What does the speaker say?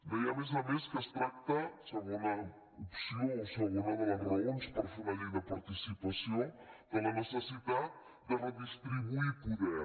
deia a més a més que es tracta segona opció o segona de les raons per fer una llei de participació de la necessitat de redistribuir poder